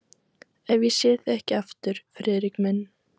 Ef ég sé þig ekki aftur, Friðrik minn.